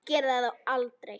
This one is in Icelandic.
Ég gerði það þó aldrei.